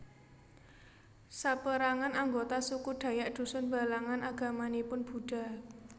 Saperangan anggota suku Dayak Dusun Balangan agamanipun Buddha